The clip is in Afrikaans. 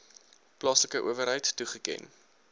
plaaslike owerheid toegeken